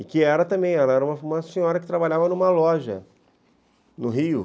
E que era também, era uma senhora que trabalhava numa loja no Rio.